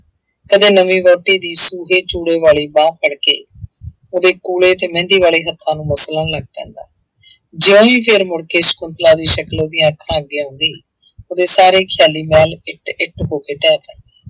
ਕਦੇ ਨਵੀਂ ਵਾਹੁਟੀ ਦੀ ਸੂਹੇ ਚੂੜੇ ਵਾਲੀ ਬਾਂਹ ਫੜਕੇ ਉਹਦੇ ਕੂਲੇ ਤੇ ਮਹਿੰਦੀ ਵਾਲੇ ਹੱਥਾਂ ਨੂੰ ਮਸਲਣ ਲੱਗ ਪੈਂਦਾ ਜਿਉਂ ਹੀ ਫਿਰ ਮੁੜਕੇ ਸਕੁੰਤਲਾ ਦੀ ਸ਼ਕਲ ਉਹਦੀਆਂ ਅੱਖਾਂ ਅੱਗੇ ਆਉਂਦੀ ਉਹਦੇ ਸਾਰੇ ਖਿਆਲੀ ਮਹਿਲ ਇੱਟ ਇੱਟ ਹੋ ਕੇ ਢਹਿ ਪਏ।